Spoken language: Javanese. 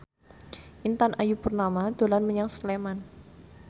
Intan Ayu Purnama dolan menyang Sleman